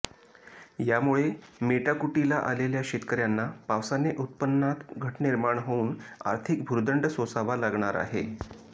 यामुळे मेटाकुटीला आलेल्या शेतकऱ्यांना पावसाने उत्पन्नात घट निर्माण होऊन आर्थिक भुर्दंड सोसावा लागणार आहे